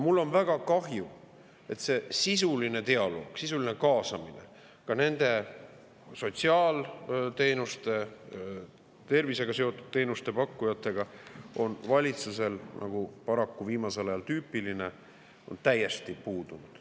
Mul on väga kahju, et sisuline dialoog nende sotsiaalteenuste, tervisega seotud teenuste pakkujatega ja ka nende sisuline kaasamine on valitsusel, nagu paraku viimasel ajal tüüpiline, täiesti puudunud.